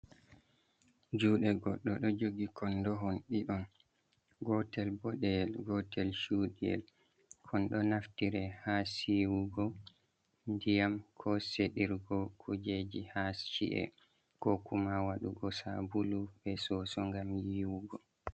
Juɗe goɗdo ɗo jogi kondo hon diɗon gotel boɗeyel gotel chudiyel, kondo naftire ha siwugo ndiyam ko sedirgo kujeji ha chi’e ko kuma waɗugo sabulu be soso ngam yiwugo.